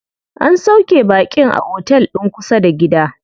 An sauƙe baƙin a otel din kusa da gida.